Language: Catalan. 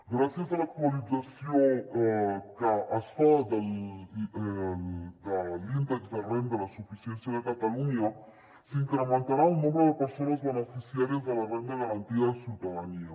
gràcies a l’actualització que es fa de l’índex de renda de suficiència de catalunya s’incrementarà el nombre de persones beneficiàries de la renda garantida de ciutadania